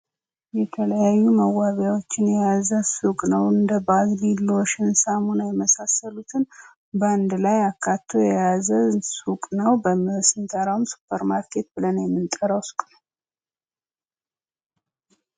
የተለያዩ መዋቢያወችን የያዘ ሱቅ ነው። እንደ .. ሳሙና የመሳሰሉትን በአንድ ላይ አካቶ የያዘ ሱቅ ነው። ስንጠራውም ሱፐር ማርኬት ብለን የምንጠራው ሱቅ ነው።